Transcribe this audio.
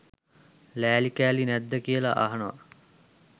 ලෑලි කෑලි නැද්ද කියලා අහනවා